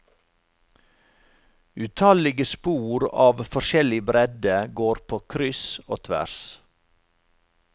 Utallige spor av forskjellig bredde går på kryss og tvers.